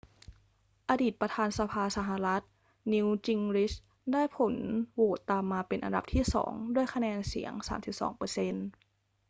อดีตประธานสภาสหรัฐ newt gingrich ได้ผลโหวตตามมาเป็นอันดับที่สองด้วยคะแนนเสียง 32 เปอร์เซ็นต์